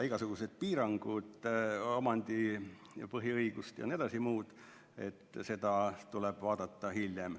Igasuguseid piiranguid, omandiõigused, põhiõigused jms, tuleb vaadata hiljem.